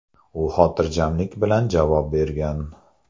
U xotirjamlik bilan javob bergan.